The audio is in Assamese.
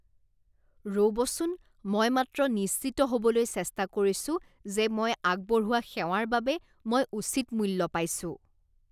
ৰ'বচোন, মই মাত্ৰ নিশ্চিত হ'বলৈ চেষ্টা কৰিছো যে মই আগবঢ়োৱা সেৱাৰ বাবে মই উচিত মূল্য পাইছোঁ।